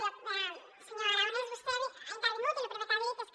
jo senyor aragonès vostè hi ha intervingut i lo primer que ha dit és que